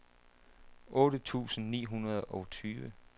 otte tusind ni hundrede og tyve